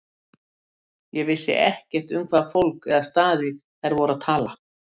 Ég vissi ekkert um hvaða fólk eða staði þær voru að tala.